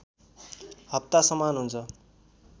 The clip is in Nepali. हप्ता समान हुन्छ